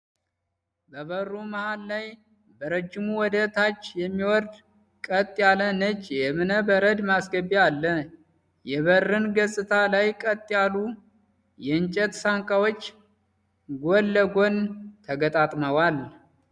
በበሩ መሃል ላይ በረጅሙ ወደ ታች የሚወርድ ቀጥ ያለ ነጭ የእብነ በረድ ማስገቢያ አለ። የበርን ገጽታ ላይ ቀጥ ያሉ የእንጨት ሳንቃዎች ጎን ለጎን ተገጣጥመዋል።